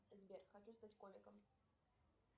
сбер хочу стать комиком